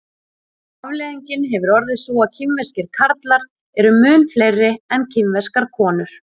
afleiðingin hefur orðið sú að kínverskir karlar eru mun fleiri en kínverskar konur